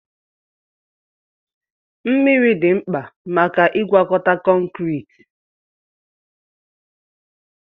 Mmiri dị mkpa maka ịgwakọta kọnkịrị.